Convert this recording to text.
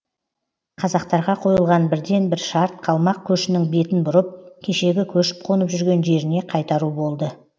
қазақтарға қойылған бірден бір шарт қалмақ көшінің бетін бұрып кешегі көшіп қонып жүрген жеріне қайтару болды